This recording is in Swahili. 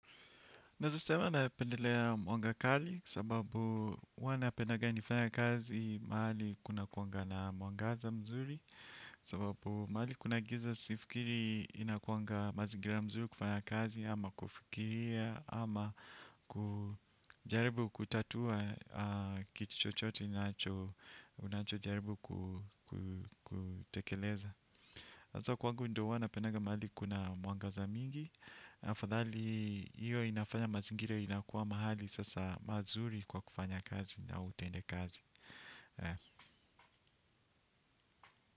Nezasema napendelea mwanga kali sababu wana pedanga nifanya kazi mahali kuna kuanga na mwangaza mzuri sababu mahali kuna giza sifikiri inakuanga mazingira mzuri kufanya kazi ama kufikiria ama kujaribu kutatua kitu chochote nacho unacho jaribu kutekeleza. Azo kuangu ndo ua napenaga mahali kuna mwangaza mingi. Fadhali iyo inafanya mazingira inakuwa mahali sasa mazuri kwa kufanya kazi na utendekazi.